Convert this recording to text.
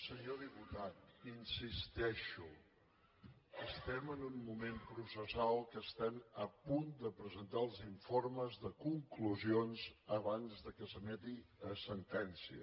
senyor diputat hi insisteixo estem en un moment processal que estem a punt de presentar els informes de conclusions abans de que s’emeti la sentència